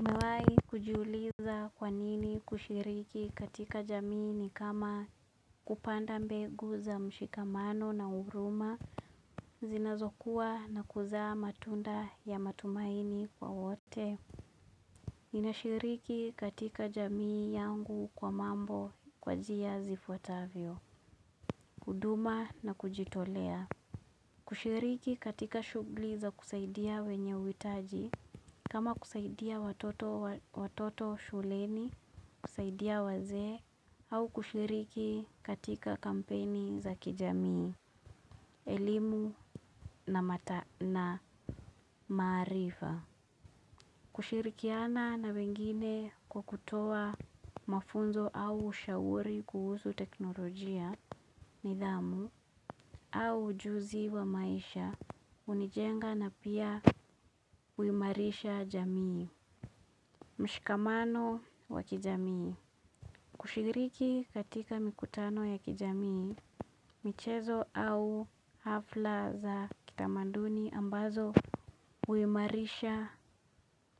Umewahi kujuliza kwanini kushiriki katika jamii ni kama kupanda mbegu za mshikamano na huruma zinazokuwa na kuzaa matunda ya matumaini kwa wote. Ninashiriki katika jamii yangu kwa mambo kwa jia zifuatavyo, kuduma na kujitolea. Kushiriki katika shugli za kusaidia wenye huitaji, kama kusaidia watoto shuleni, kusaidia wazee, au kushiriki katika kampeni za kijamii, elimu na maarifa. Kushirikiana na wengine kwa kutoa mafunzo au ushauri kuhusu teknolojia nidhamu au ujuzi wa maisha hunijenga na pia huimarisha jamii. Mshikamano wa kijamii. Kushiriki katika mikutano ya kijamii, michezo au hafla za kitamaduni ambazo huimarisha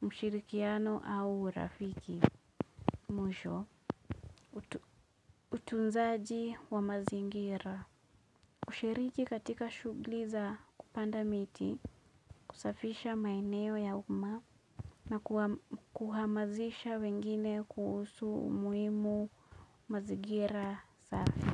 mshirikiano au urafiki. Mwisho, utunzaji wa mazingira kushiriki katika shugli za kupanda miti, kusafisha maeneo ya uma na kuhamazisha wengine kuhusu umuhimu mazingira safi.